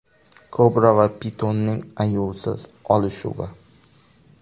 Kobra va pitonning ayovsiz olishuvi .